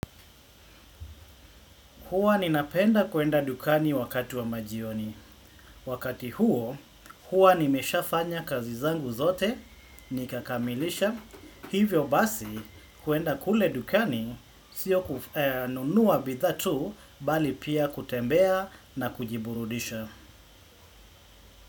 Huwa ninapenda kwenda dukani wakati wa majioni. Wakati huo, huwa nimesha fanya kazi, zangu zote, nikakamilisha. Hivyo basi, kuenda kule dukani, sio kununua bidhaa tu, bali pia kutembea na kujiburudisha.